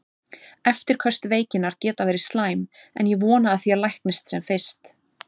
Eftirköst veikinnar geta verið slæm, en ég vona að þér læknist sem fyrst.